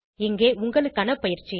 இங்கே உங்களுக்கான பயிற்சி